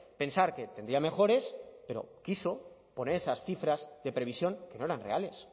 pensar que tendría mejores pero quiso poner esas cifras de previsión que no eran reales